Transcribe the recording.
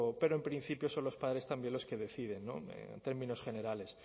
pero en principio son los padres también los que deciden en términos generales